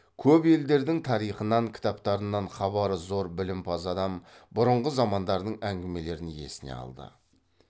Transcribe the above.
көп елдердің тарихынан кітаптарынан хабары зор білімпаз адам бұрынғы замандардың әңгімелерін есіне алды